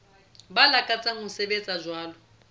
ba lakatsang ho sebetsa jwalo